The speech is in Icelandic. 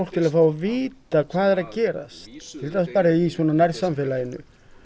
til að fá að vita hvað er að gerast í svona nærsamfélaginu